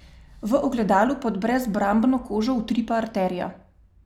V ogledalu pod brezbrambno kožo utripa arterija.